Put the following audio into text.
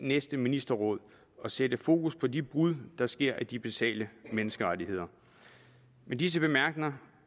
næste ministerråd og sætte fokus på de brud der sker på de basale menneskerettigheder med disse bemærkninger